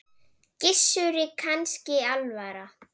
Gissuri kannski alvara.